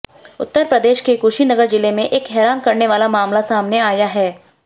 उत्तर प्रदेश के कुशीनगर जिले में एक हैरान करने वाला मामला सामने आया है